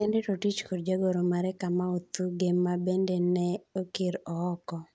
Henry Rotich kod Jagoro mare Kamau Thuge ma bende ne okir ooko.